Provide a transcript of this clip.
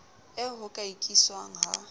eo ho ka ikiswang ha